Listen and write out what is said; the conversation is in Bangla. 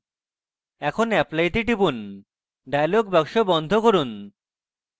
এখন apply তে টিপুন dialog box বন্ধ করুন